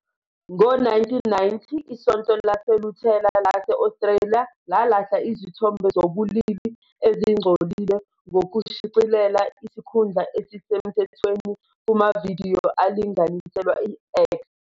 Ngo-1990, iSonto LaseLuthela lase-Australia lalahla izithombe zobulili ezingcolile ngokushicilela isikhundla esisemthethweni "kumavidiyo alinganiselwe i-X".